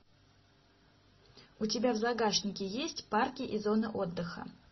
у тебя в загашнике есть парки и зоны отдыха